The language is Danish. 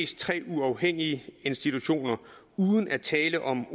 tre uafhængige institutioner uden at tale om